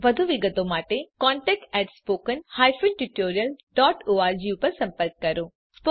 વધુ વિગત માટે કૃપા કરી contact at spoken hyphen tutorial dot org પર સંપર્ક કરો